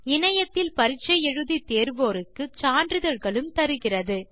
இணையத்தில் பரிட்சை எழுதி தேர்வோருக்கு சான்றிதழ்களும் தருகிறது